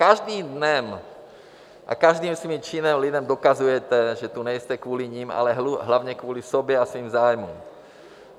Každým dnem a každým svým činem lidem dokazujete, že tu nejste kvůli nim, ale hlavně kvůli sobě a svým zájmům.